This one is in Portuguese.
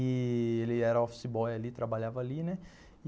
E ele era office boy ali, trabalhava ali, né?